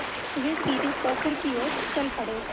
वे सीधे पोखर की ओर चल पड़े